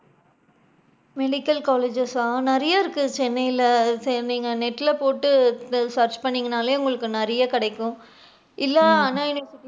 Medical colleges சா நிறைய இருக்கு சென்னைல சேன்திங்க net ல போட்டு search பன்னுநிங்கனாலே உங்களுக்கு நிறைய கிடைக்கும் இல்லா ஆனா அண்ணா university,